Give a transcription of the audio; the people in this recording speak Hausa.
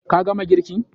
Ka gama girkin?